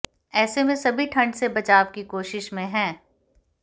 ऐसे में सभी ठंड से बचाव की कोशिश में हैं